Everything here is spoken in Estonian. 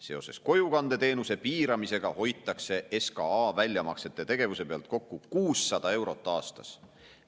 Seoses kojukandeteenuse piiramisega hoitakse SKA väljamaksete tegevuse pealt kokku 600 eurot aastas.